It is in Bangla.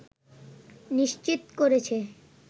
নিশ্চিত করেছে